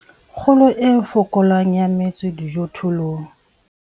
Kgolo e fokolang ya metso dijothollong.